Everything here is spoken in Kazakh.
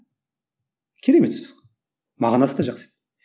керемет сөз ғой мағынасы да жақсы